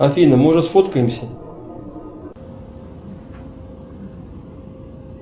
афина может сфоткаемся